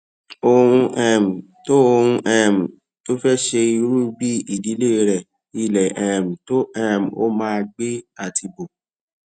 ohun um tó ohun um tó o fé ṣe irú bí ìdílé rẹ ilé um tó um o máa gbé àti bó